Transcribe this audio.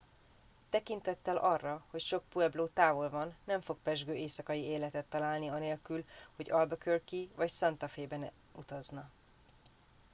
tekintettel arra hogy sok puebló távol van nem fog pezsgő éjszakai életet találni anélkül hogy albuquerque be vagy santa fe be nem utazna